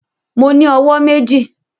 Mo ní owó méjì